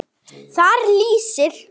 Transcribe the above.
Þar lýsir